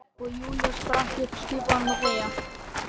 Og Júlía spratt upp, skipaði honum að þegja.